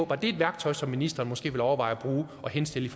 var et værktøj som ministeren måske ville overveje at bruge og henstille